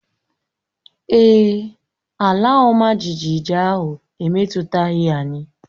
Èè, ala ọma jijiji ahụ emetụtaghị anyị